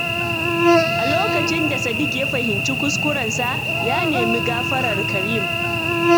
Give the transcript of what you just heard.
A lokacin da Sadiq ya fahimci kuskurensa, ya nemi gafarar Kareem.